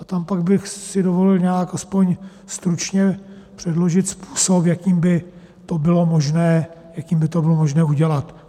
A tam pak bych si dovolil nějak aspoň stručně předložit způsob, jakým by to bylo možné udělat.